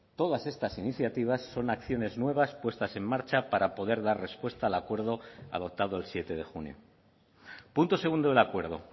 todas estas iniciativas son acciones nuevas puestas en marcha para poder dar respuesta al acuerdo adoptado el siete de junio punto segundo del acuerdo